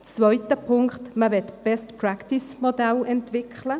Der zweite Punkt: Man möchte ein Best-Practice-Modell entwickeln.